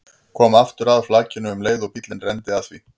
Kom aftur að flakinu um leið og bíllinn renndi að því.